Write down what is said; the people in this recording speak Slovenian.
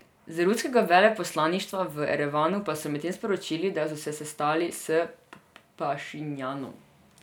Z ruskega veleposlaništva v Erevanu pa so medtem sporočili, da so se sestali s Pašinjanom.